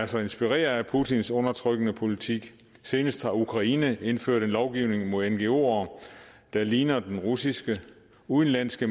sig inspirere af putins undertrykkende politik senest har ukraine indført en lovgivning mod ngoere der ligner den russiske udenlandske